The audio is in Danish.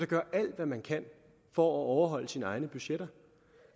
gøre alt hvad man kan for at overholde sine egne budgetter